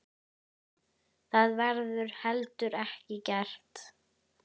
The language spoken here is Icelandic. Það verður heldur ekki gert.